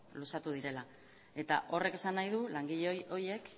luzatu direla eta horrek esan nahi du langile horiek